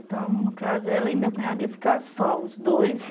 Então, no caso, ela e meu cunhado iam ficar só, os dois.